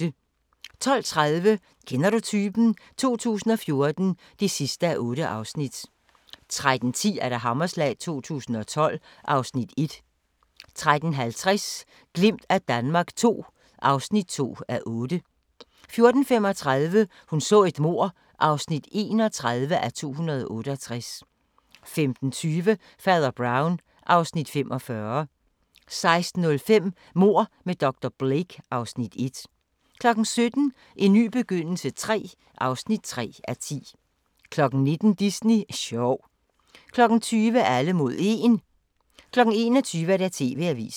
12:30: Kender du typen? 2014 (8:8) 13:10: Hammerslag 2012 (Afs. 1) 13:50: Et glimt af Danmark II (2:8) 14:35: Hun så et mord (31:268) 15:20: Fader Brown (Afs. 45) 16:05: Mord med dr. Blake (Afs. 1) 17:00: En ny begyndelse III (3:10) 19:00: Disney sjov 20:00: Alle mod 1 21:00: TV-avisen